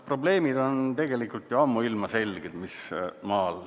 Probleemid, mis maal on, on tegelikult ju ammuilma selged.